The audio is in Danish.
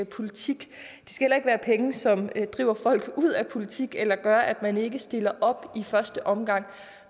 politik og ikke være penge som driver folk ud af politik eller gør at man ikke stiller op i første omgang